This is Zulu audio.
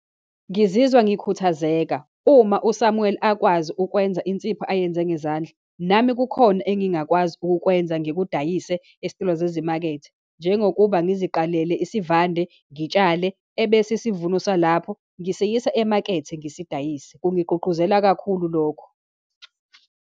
Ngizizwa ngikhuthazeka. Uma uSamuel akwazi ukwenza insipho ayenze ngezandla, nami kukhona engingakwazi ukukwenza, ngikudayise esitolo zezimakethe, njengokuba ngiziqalele isivande, ngitshale, ebese isivuno salapho ngisiyisa emakethe ngisidayise. Kungigqugquzela kakhulu lokho.